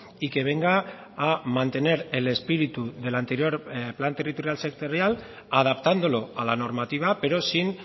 y que venga a mantener el espíritu de la anterior plan territorial sectorial adaptándolo a la normativa pero sin